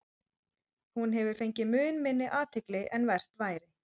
Hún hefur fengið mun minni athygli en vert væri.